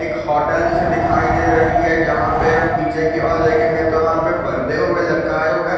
एक होटेल जैसे दिखाई दे रही है जहाँ पे हम पीछे की ओर देखेंगे तो वहाँ पे परदे हूए लटकाएँ हुए हैं।